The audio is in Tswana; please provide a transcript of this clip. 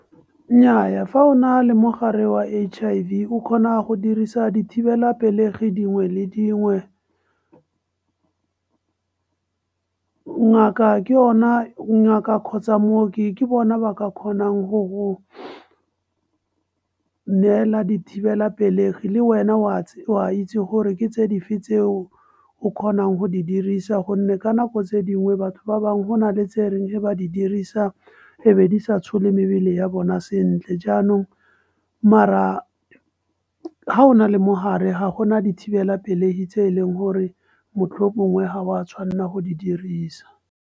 Nnyaya fa o na le mogare wa H_I_V o kgona go dirisa dithibelapelegi dingwe le dingwe ngaka kgotsa mooki ke bona ba ka kgonang go go neela dithibelapelegi le wena o a itse gore ke tse dife tse o kgonang go di dirisa gonne ka nako tse dingwe batho ba bangwe go nale tse e reng ba di dirisa e be disa tshole mebele ya bona sentle. Jaanong mara ha o na le mogare ga gona dithibelapelegi tse e leng gore mohlomongwe ga wa tshwanela go di dirisa.